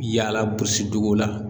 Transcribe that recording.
Yaala duguw la